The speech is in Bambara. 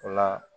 O la